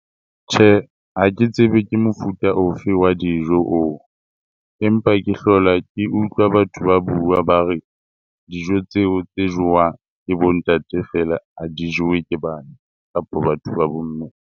Tjhe, ha ke tsebe ke mofuta ofe wa dijo oo. Empa ke hlola ke utlwa batho ba bua ba re dijo tseo tse jewang ke bo ntate feela ha di jewe ke bana kapa batho ba bomme.